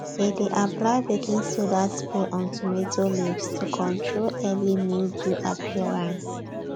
they dey apply baking soda spray on tomato leaves to control early mildew appearance